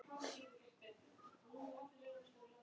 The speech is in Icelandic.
Það er fallegt nafn.